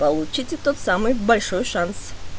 получите тот самый большой шанс